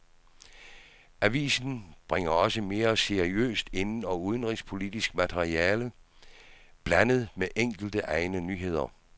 Avisen bringer også mere seriøst inden- og udenrigspolitisk materiale blandet med enkelte egne nyheder.